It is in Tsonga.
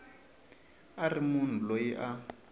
a ri munhu loyi a